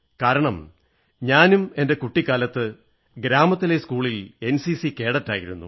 കാരണം ഞാനും എന്റെ കുട്ടിക്കാലത്ത് ഗ്രാമത്തിലെ സ്കൂളിൽ എൻസിസി കേഡറ്റായിരുന്നു